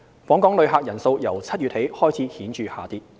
訪港旅客人數由7月起開始顯著下跌。